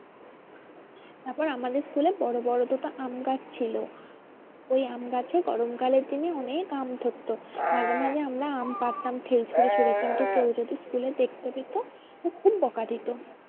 তারপর আমাদের school এ বড়ো বড়ো দুটো আমগাছ ছিল। ওই আম গাছে গরম কালের দিনে অনেক আম ধরতো। মাঝে মাঝে আমরা আম পারতাম ঢিল ছুড়ে ছুড়ে কিন্তু কেউ যদি school এর দেখতে পেতো খুব খুব বকা দিতো।